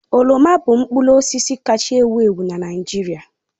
Oroma bụ mkpụrụ osisi kaacha ewu ewu na Naịjirịa